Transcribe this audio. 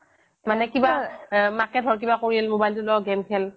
মানে কিবা মাকে ঘৰত কিবা কৰিল mobile টো ল' game খেল